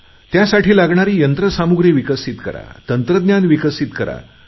त्यासाठी लागणारी यंत्र सामुग्री विकसित करा तंत्रज्ञान विकसित करा